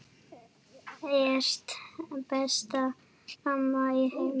Ert besta amma í heimi.